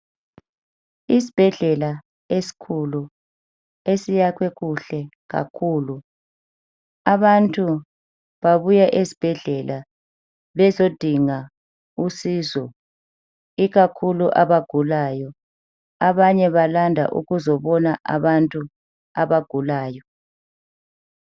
Isibhedlela esikhulu esiyakhwe kuhle kakhulu. Abantu babuya esibhedlela bezodinga usizo ikakhulu abagulayo. Abanye balanda ukuzobona abagulayo.